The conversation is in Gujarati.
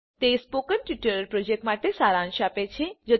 તે સ્પોકન ટ્યુટોરીયલ પ્રોજેક્ટ માટે સારાંશ આપે છે